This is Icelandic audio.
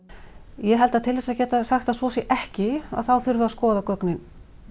ég held að til þess að geta sagt að svo sé ekki að þá þurfi að skoða gögnin